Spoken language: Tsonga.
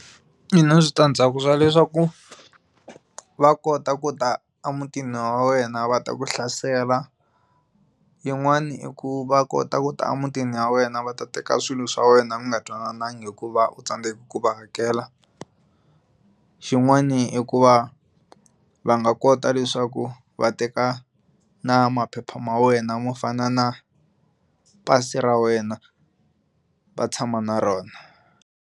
Yi na switandzhaku swa leswaku va kota ku ta emutini wa wena va ta ku hlasela yin'wana i ku va kota ku ta emutini wa wena va ta teka swilo swa wena mi nga twanananga hikuva u tsandzeke ku va hakela xin'wani i ku va va nga kota leswaku va teka na maphepha ma wena mo fana na pasi ra wena va tshama na rona.